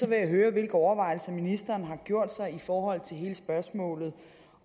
vil jeg høre hvilke overvejelser ministeren har gjort sig i forhold til hele spørgsmålet